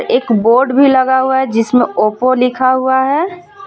एक बोर्ड भी लगा हुआ है जिसमें ओपो लिखा हुआ है.